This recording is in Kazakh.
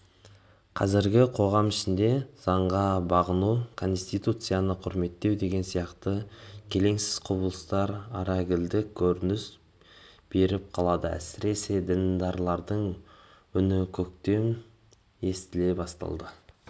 қазіргі қоғам ішінде заңға бағынбау конституцияны құрметтемеу деген сияқты келеңсіз құбылыстар арагідік көрініс беріп қалады әсіресе діндарлардың үні өктем естіле бастады